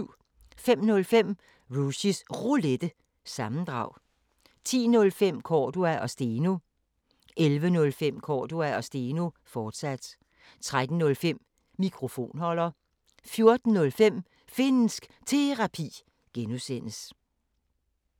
05:05: Rushys Roulette – sammendrag 10:05: Cordua & Steno 11:05: Cordua & Steno, fortsat 13:05: Mikrofonholder 14:05: Finnsk Terapi (G)